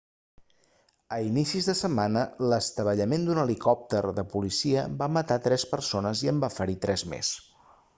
als inicis de setmana l'estavellament d'un helicòpter de policia va matar tres persones i en va ferir tres més